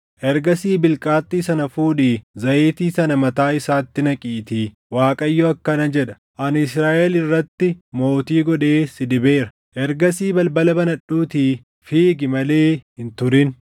Ergasii bilqaaxxii sana fuudhii zayitii sana mataa isaatti naqiitii, ‘ Waaqayyo akkana jedha: Ani Israaʼel irratti mootii godhee si dibeera.’ Ergasii balbala banadhuutii fiigi malee hin turin!”